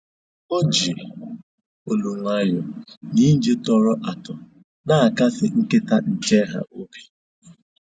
O ji olu nwayọọ na ije tọrọ atọ na-akasị nkịta nche ha obi